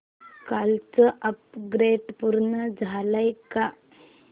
कालचं अपग्रेड पूर्ण झालंय का